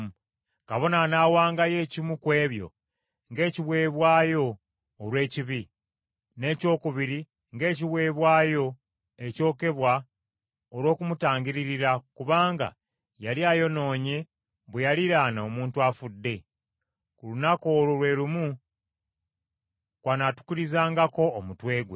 Kabona anaawangayo ekimu ku ebyo ng’ekiweebwayo olw’ekibi, n’ekyokubiri ng’ekiweebwayo ekyokebwa olw’okumutangiririra kubanga yali ayonoonye bwe yaliraana omuntu afudde. Ku lunaku olwo lwe lumu, kw’anaatukulizangako omutwe gwe.